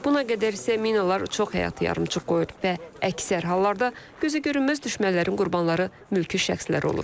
Buna qədər isə minalar çox həyatı yarımçıq qoyur və əksər hallarda gözə görünməz düşmənlərin qurbanları mülki şəxslər olur.